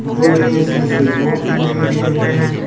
दो जगह इसमें स्विच बोर्ड तीन जगह दिए हुए हैं।